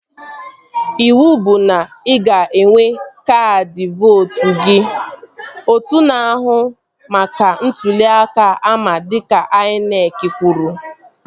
Ịwụ bụ na ị ga-enwe kaadị vootu gị! Otu na-ahụ maka ntụli aka ama dịka INEC kwuru